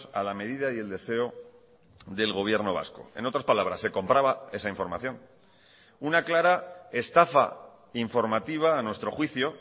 a la medida y el deseo del gobierno vasco en otras palabras se compraba esa información una clara estafa informativa a nuestro juicio